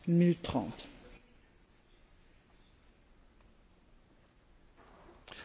Účasť záujmových skupín a lobistov na tvorbe politiky Európskej únie neustále narastá.